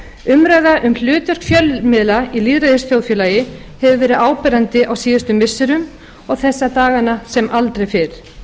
umræða um hlutverk fjölmiðla í lýðræðisþjóðfélagi hefur verið áberandi á síðustu missirum og þessa dagana sem aldrei fyrr